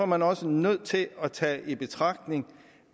man også nødt til at tage i betragtning